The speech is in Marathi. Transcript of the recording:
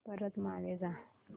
परत मागे जा